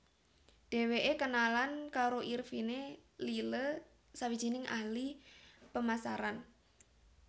Dheweke kenalan karo Irvine Lyle sawijining ahli pemasaran